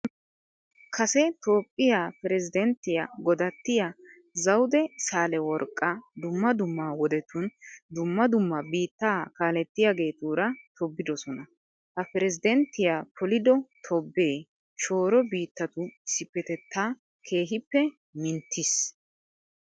Kase toophphiya pirezddanttiya godattiya zawude saaleworqqa dumma dumma wodetun dumma dumma biittaa kaalettiyageetuura tobbidosona. Ha pirezddanttiya polido tobbee shooro biittatu issippetettaa keehippe minttiis.